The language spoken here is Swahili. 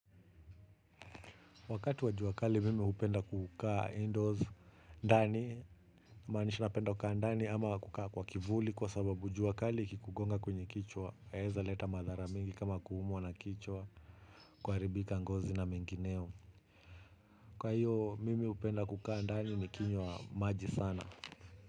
Wakati wa jua kali mimi hupenda kukaa indoors ndani, kumaanisha napenda kukaa ndani ama kukaa kwa kivuli kwa sababu jua kali ikikugonga kwenye kichwa, yaeza leta madhara mingi kama kuumwa na kichwa, kuharibika ngozi na mengineo. Kwa hiyo mimi hupenda kukaa ndani nikinywa, maji sana.